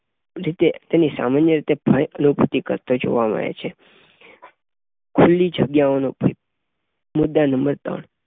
રીતે તેની સામાન્ય રીતે ભય અનુભૂતિ કરતા જોવા મળે છે. ખુલ્લી જગ્યાઓનો ભય મૂળ નંબર ત્રણ